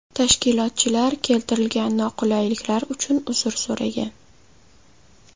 Tashkilotchilar keltirilgan noqulayliklar uchun uzr so‘ragan.